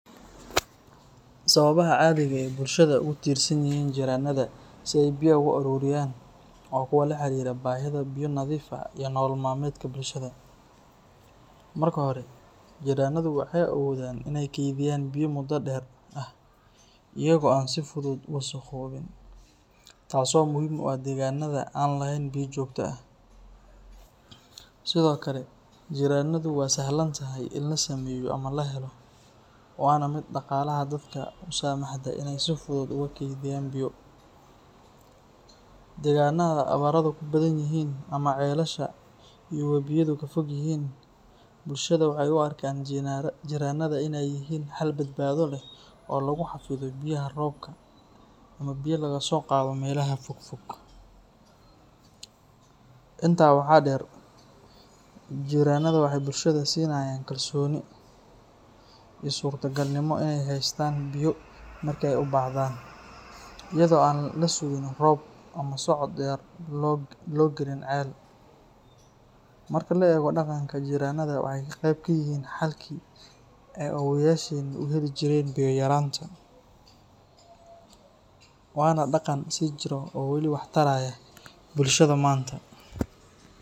Sababaha cadiga ah ee bulshada ugu tirsanyihiin jirrannada si ay biyaha u aruuriyaan waa kuwo la xiriira baahida biyo nadiif ah iyo nolol maalmeedka bulshada. Marka hore, jirrannadu waxay awoodaan inay kaydiyaan biyo muddo dheer ah iyaga oo aan si fudud u wasakhoobin, taasoo muhiim u ah deegaanada aan lahayn biyo joogto ah. Sidoo kale, jirrannadu waa sahlan tahay in la sameeyo ama la helo, waana mid dhaqaalaha dadka u saamaxda inay si fudud ugu kaydiyaan biyo. Deegaannada abaaruhu ku badan yihiin ama ceelasha iyo wabiyadu ka fog yihiin, bulshada waxay u arkaan jirrannada inay yihiin xal badbaado leh oo lagu xafido biyaha roobka ama biyo laga soo qaado meelaha fogfog. Intaa waxaa dheer, jirrannada waxay bulshada siinayaan kalsooni iyo suurtagalnimo inay haystaan biyo marka ay u baahdaan, iyada oo aan la sugin roob ama socod dheer loo gelin ceel. Marka la eego dhaqanka, jirrannada waxay qayb ka yihiin xalkii ay awoowayaasheen u heli jireen biyo yaraanta, waana dhaqan sii jiro oo weli wax taraya bulshada maanta